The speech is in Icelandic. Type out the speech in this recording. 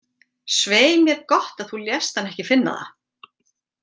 Svei mér gott að þú lést hann ekki finna það.